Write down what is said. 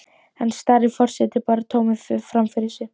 Enn starir forsetinn bara tómur fram fyrir sig.